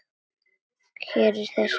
Hér í þessum kössum!